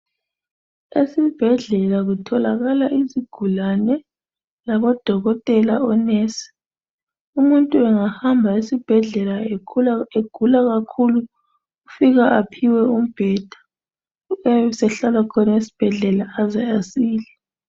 Esibhedlela kutholakala izigulane labo dokotela onesi. Umuntu engahamba esibhedlela egula kakhulu ufika aphiwe umbheda ebesehlala khona esibhedlela aze asile.